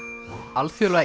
alþjóðlega